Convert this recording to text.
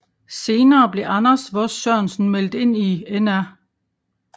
Senere blev Anders Vos Sørensen meldt ind i Nr